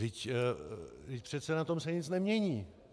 Vždyť přece na tom se nic nemění!